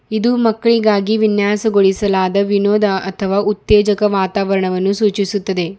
ಇದು ಮಕ್ಕಳಿಗಾಗಿ ವಿನ್ಯಾಸಗೊಳಿಸಲಾದ ವಿನೋದ ಅಥವಾ ಉತ್ತೇಜಕ ವಾತಾವರಣವನ್ನು ಸೂಚಿಸುತ್ತದೆ.